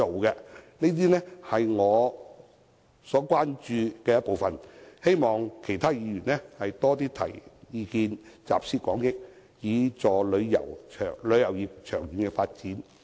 以上是我關注的部分事宜，希望其他議員多些提出意見，集思廣益，以助旅遊業的長遠發展。